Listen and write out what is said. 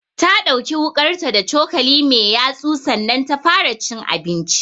Ta ɗauki wuƙarta da cokali mai yatsu sannan ta fara cin abinchi